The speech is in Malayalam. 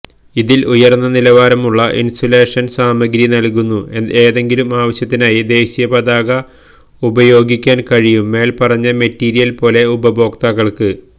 അതിൽ ഉയർന്ന നിലവാരമുള്ള ഇൻസുലേഷൻസാമഗ്രി നൽകുന്നു ഏതെങ്കിലും ആവശ്യത്തിനായി ദേശീയപതാക ഉപയോഗിക്കാൻ കഴിയും മേൽപ്പറഞ്ഞ മെറ്റീരിയൽ പോലെ ഉപഭോക്താക്കൾക്ക്